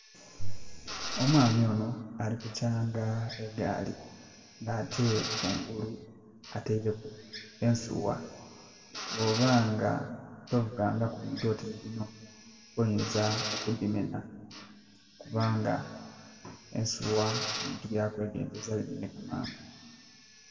Omwami onho ali ku kyanga egaali ate kungulu ateireku ensuwa. Bwoba nga tovugangaku bintu oti nhi binho oyinza okudimenha kubanga ensuwa bintu bya kwegendhereza bimenheka mangu.